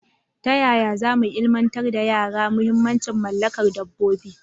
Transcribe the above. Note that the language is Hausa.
Ta yaya za mu ilimantar da yara muhimmancin mallakar dabbobi?